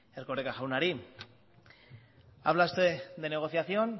erkoreka jaunari habla usted de negociación